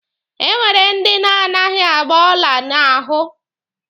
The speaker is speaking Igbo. E nwere ndi na-anaghị agba ọla n'ahụ.